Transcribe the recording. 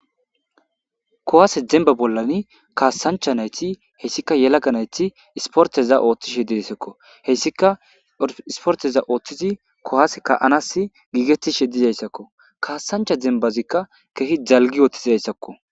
kuwaase demba bollani kaassancha nayti hessika yelaga nayti isporteza ooththishe dissekko hessika isporteza ooththizi kowaase ka7anassi giigetishe dizayssakko kaassancha dembazikka kehi dalgi ooththizayssakko.